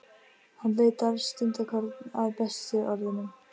Hann leitar stundarkorn að bestu orðunum.